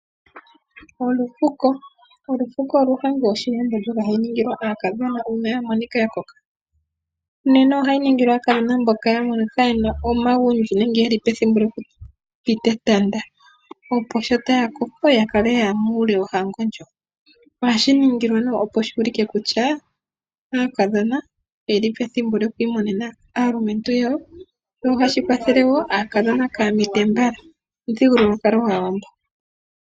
Olufuko. Olufuko olwo ohango yoshiwàmbo, ndjoka hayi ningilwa aakadhona uuna ya monika ya koka. Nena ohayi ningilwa aakadhona mboka ya monika ye na omagundji nenge yeli pethimbo lyokupita etanda. Opo sho taya koko ya kale yaya muule wohango ndjo. Ohashi ningilwa nee opo shu ulike kutya, aakadhona oye li pethimbo lyokwiimonena aalumentu yawo, ohashi kwathele woo aakadhona kaaya mite mbala. Omuthigululwakalo gwaawambo.